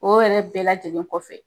O yɛrɛ bɛɛ lajɛlen kɔfɛ